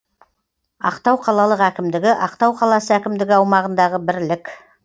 ақтау қалалық әкімдігі ақтау қаласы әкімдігі аумағындағы бірлік